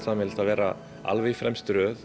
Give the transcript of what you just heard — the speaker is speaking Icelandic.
sameiginlegt að vera alveg í fremstu röð